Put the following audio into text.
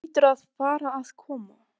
Vinir Mumma gera sér stundum glaðan dag í